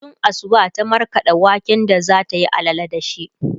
tun Asuba ta markaɗa waken da zatayi allala da shi